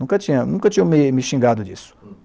Nunca tinha nunca tinham me me xingado disso.